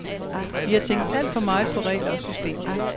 Vi har tænkt alt for meget på regler og systemer.